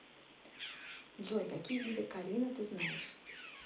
джой какие виды карина ты знаешь